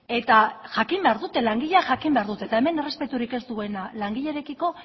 eta jakin behar dute langileak jakin behar dute eta hemen errespeturik ez duena langilerekiko